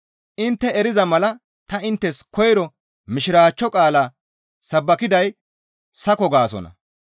Intte eriza mala ta inttes koyro Mishiraachcho qaala sabbakiday sako gaasonna.